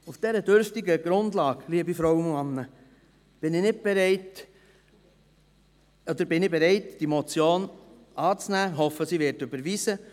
Auf dieser dürftigen Grundlage, liebe Frauen und Männer, bin ich bereit, die Motion anzunehmen und hoffe, sie werde überwiesen.